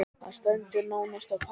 Þetta stendur nánast á pari.